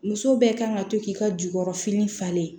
Muso bɛɛ kan ka to k'i ka jukɔrɔfini falen